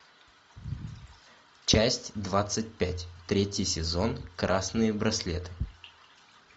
часть двадцать пять третий сезон красные браслеты